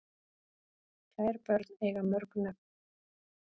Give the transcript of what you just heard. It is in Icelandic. Kær börn eiga mörg nöfn